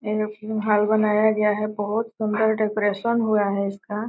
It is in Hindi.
घर बनाया गया है। बोहत सुन्दर डेकोरैशन हुआ है इसका।